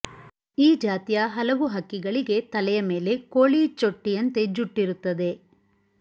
ಈ ಜಾತಿಯ ಹಲವು ಹಕ್ಕಿಗಳಿಗೆ ತಲೆಯ ಮೇಲೆ ಕೋಳಿ ಚೊಟ್ಟಿಯಂತೆ ಜುಟ್ಟಿರುತ್ತದೆ